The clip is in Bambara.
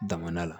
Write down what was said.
Daminɛna